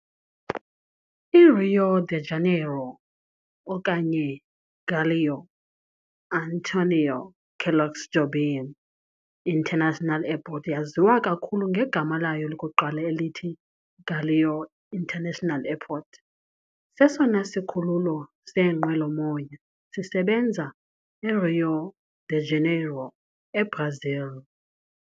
I-Rio de Janeiro okanye Galeão - Antonio Carlos Jobim International Airport eyaziwa kakhulu ngegama layo lokuqala elithi Galeão International Airport, sesona sikhululo seenqwelomoya sisebenza eRio de Janeiro, eBrazil.